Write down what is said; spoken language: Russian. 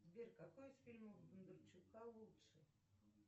сбер какой из фильмов бондарчука лучше